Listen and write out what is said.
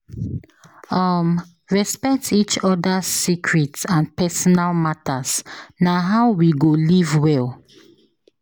um Respect each other’s secrets and personal matters; na how we go live well.